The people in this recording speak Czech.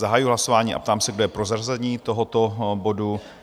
Zahajuji hlasování a ptám se, kdo je pro zařazení tohoto bodu?